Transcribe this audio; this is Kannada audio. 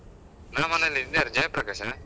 ನಾ ಮನೆಲ್ಲಿ, ಇದ್ ಯಾರ್ ಜಯಪ್ರಕಾಶಾ?